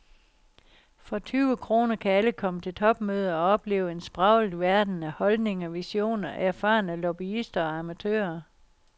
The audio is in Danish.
For tyve kroner kan alle komme til topmøde og opleve en spraglet verden af holdninger, visioner, erfarne lobbyister og amatører.